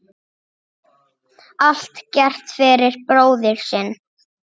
Allt gert fyrir bróðir sinn.